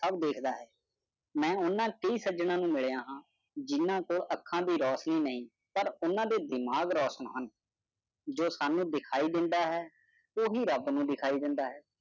ਆਮ ਲੋਕਾਂ ਨੂੰ ਉਹਨਾਂ ਦੇ ਕਾਤਲਾਂ ਨੂੰ ਮਿਲਿਆਸਕੂਲਾਂ ਤੋਂ ਅੱਖਾਂ ਨੂੰ ਰਾਤ ਨੂੰ ਨਹੀਂ ਖੜਕਣਗੇ ਮਾਜਰਾ ਸਨਵਿਅੰਗ ਆਉ ਬਣਦਾ ਹੈ ਕਿ ਉਹ ਰੱਬ ਨੂੰ ਦਖਲ ਦੇਣ ਦਾ ਵਿਰੋਧ